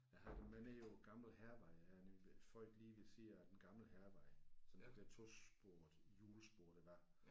Jeg havde dem med nede på den gamle hærvej jeg er nemlig født lige ved siden af den gamle hærvej sådan det der tosporede hjulspor der var